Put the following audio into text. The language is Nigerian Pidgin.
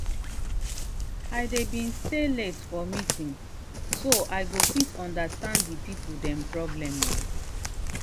i dey been stay late for meeting so i go fit understand the people dem problem.